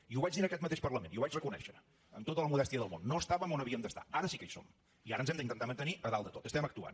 i ho vaig dir en aquest mateix parlament i ho vaig reconèixer amb tota la modèstia del món no estàvem on ha víem d’estar ara sí que hi som i ara ens hem d’intentar mantenir a dalt de tot estem actuant